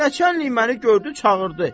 Nəçənliyi məni gördü, çağırdı.